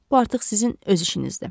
Bu artıq sizin öz işinizdir.